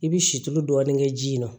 I bi si tulu dɔɔni kɛ ji in na